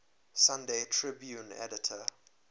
sunday tribune editor